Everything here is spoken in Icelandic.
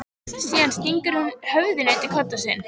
Síðan stingur hún höfðinu undir koddann sinn.